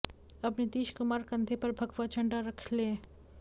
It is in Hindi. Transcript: अब नीतीश कुमार कंधे पर भगवा झंडा रख लें